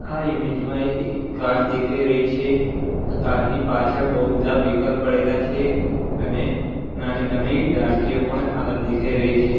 આ ઈમેજ માં એક કાર દેખાઈ રહી છે કાર ની પાછળ બહુ બધા વ્હિકલ્સ પડેલા છે અને નાની નાની દાળખીઓ પણ આ દેખાઈ રહી છે.